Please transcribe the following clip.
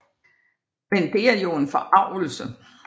Men det er jo en forargelse